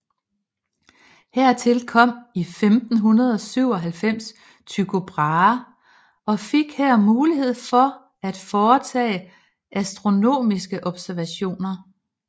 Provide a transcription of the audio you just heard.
Hertil kom i 1597 Tycho Brahe og fik her mulighed for at foretage astronomiske observationer